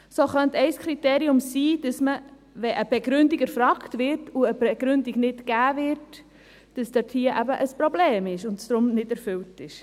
So könnte ein Kriterium sein, dass man, wenn eine Begründung erfragt, aber eine Begründung nicht gegeben wird, dass es dort ein Problem gibt und es darum nicht erfüllt wird.